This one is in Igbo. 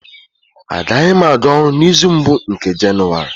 Agaghị m aga ọrụ n'izu mbụ nke Jenụwarị